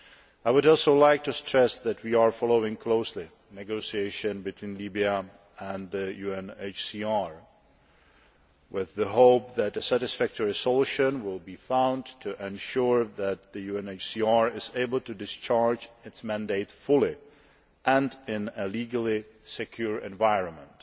I would also like to stress that we are following closely negotiation between Libya and the UNHCR in the hope that a satisfactory solution will be found to ensure that the UNHCR is able to discharge its mandate fully and in a legally secure environment.